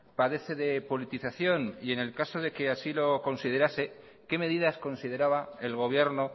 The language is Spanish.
padece de politización y en el caso de que así lo considerase qué medidas consideraba el gobierno